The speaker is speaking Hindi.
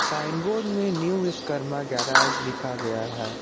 साइन बोर्ड में न्यू विश्वकर्मा गैराज लिखा गया है।